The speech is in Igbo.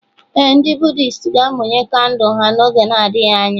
Ee, ndị Buddhist ga-amụnye kandụl ha n'oge na-adịghị anya.